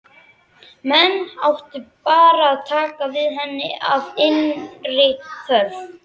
Menn áttu bara að taka við henni af innri þörf.